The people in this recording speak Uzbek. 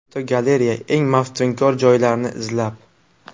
Fotogalereya: Eng maftunkor joylarni izlab.